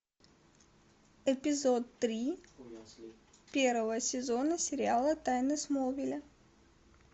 эпизод три первого сезона сериала тайны смолвиля